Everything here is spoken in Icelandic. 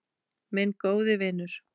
Minn góði vinur.